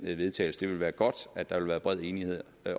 til vedtagelse det ville være godt at der ville være bred enighed